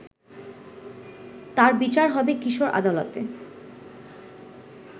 তার বিচার হবে কিশোর আদালতে